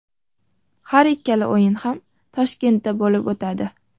Har ikkala o‘yin ham Toshkentda bo‘lib o‘tadi.